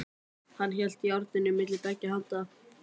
Hann hélt járninu milli beggja handa.